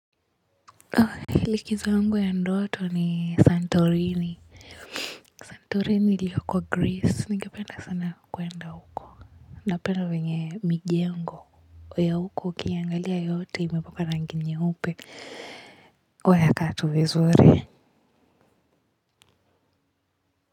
Likizo yangu ya ndoto ni santorini santorini iliyoko Greece ningependa sana kwenda huko napenda wenye mijengo ya huko ukiangalia yote imepakwa rangi nyeupe huwa ya kaa tu vizuri.